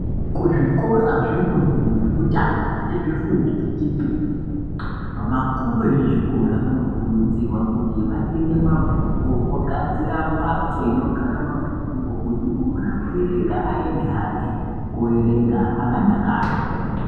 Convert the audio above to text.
Kuzvikora zvefundo yekutanga nezvefundo yechipiri vakuru vezvikora vanokurudzirwa kuti vatenge mabhuku vogadzira mbatso inogara mabhuku kuti unoda kuerenga ayende hake akadakaa.